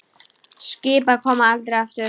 Skip koma aldrei aftur.